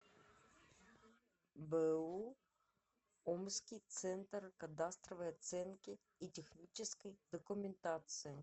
бу омский центр кадастровой оценки и технической документации